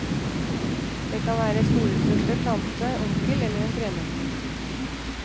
Det kan være være storesøster, tante, onkel eller en tremenning.